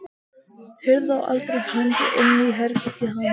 Hurð á aðra hönd inn í herbergið hans.